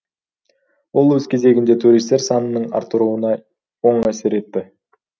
ол өз кезегінде туристер санының артыруына оң әсер етті